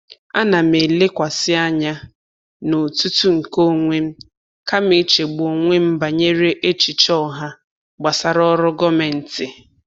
Ana m elekwasị anya n'otutu nke onwe m kama ichegbu onwe m banyere echiche ọha gbasara ọrụ gọọmentị.